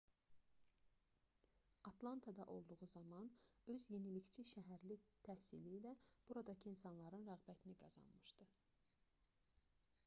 atlantada olduğu zaman öz yenilikçi şəhərli təhsili ilə buradakı insanların rəğbətini qazanmışdı